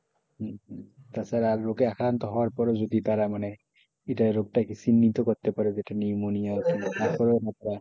হম হম তাছাড়া রোগে আক্রান্ত হওয়ার পরও যদি তারা মানে রোগটাকে চিহ্নিত করতে পারে যে এটা নিউমোনিয়া রোগ তারপরেও আমরা সঠিক,